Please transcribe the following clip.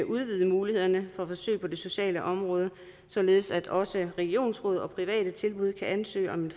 udvide mulighederne for forsøg på det sociale område således at også regionsråd og private tilbud kan ansøge om en